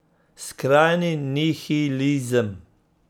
Skrajni nihilizem.